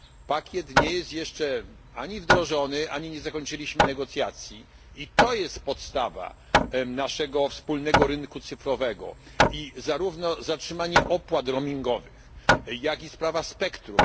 Pakiet nie jest jeszcze ani wdrożony, ani nie zakończyliśmy negocjacji i to jest podstawa naszego wspólnego rynku cyfrowego i zarówno zatrzymanie opłat roamingowych, jak i sprawa spectrum.